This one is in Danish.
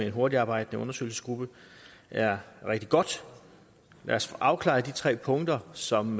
en hurtigtarbejdende undersøgelsesgruppe er rigtig godt lad os få afklaret de tre punkter som